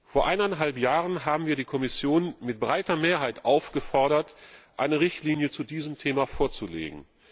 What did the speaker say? Vor eineinhalb Jahren haben wir die Kommission mit breiter Mehrheit aufgefordert, eine Richtlinie zu diesem Thema vorzulegen.